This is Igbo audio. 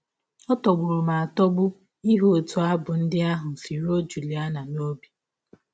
Ọ tọgbụrụ m atọgbu ịhụ ọtụ abụ ndị ahụ si rụọ Juliana n’ọbi!